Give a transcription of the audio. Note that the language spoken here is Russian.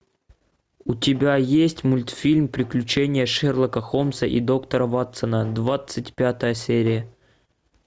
у тебя есть мультфильм приключения шерлока холмса и доктора ватсона двадцать пятая серия